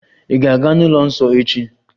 Ị̀ ga-aga n'ụlọ nsọ echi?